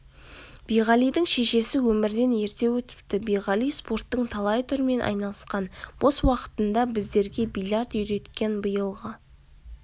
биғалидың шешесі өмірден ерте өтіпті биғали спорттың талай түрімен айналысқан бос уақытында біздерге бильярд үйреткен биылғы